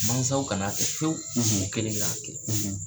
Mansaw kan'a kɛ fiyewu, , u kelen k'a kɛ.